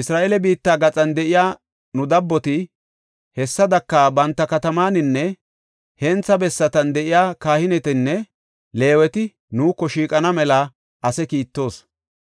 Isra7eele biitta gaxan de7iya nu dabboti, hessadaka banta katamataninne hentha bessatan de7iya kahinetinne Leeweti nuuko shiiqana mela ase kiittoos.